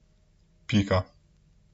Pika.